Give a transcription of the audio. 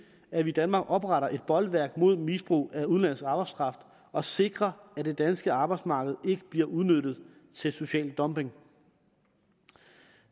at vi i danmark opretter et bolværk mod misbrug af udenlandsk arbejdskraft og sikrer at det danske arbejdsmarked ikke bliver udnyttet til social dumping